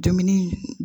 Dumuni